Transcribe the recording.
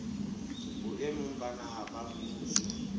boemong ba naha ba mmuso